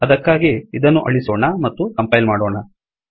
ಅದಕ್ಕಾಗಿ ಇದನ್ನು ಅಳಿಸೋಣ ಮತ್ತು ಕಂಪೈಲ್ ಮಾಡೋಣ